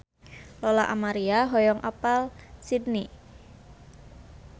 Lola Amaria hoyong apal Sydney